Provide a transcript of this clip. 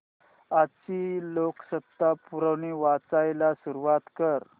आजची लोकसत्ता पुरवणी वाचायला सुरुवात कर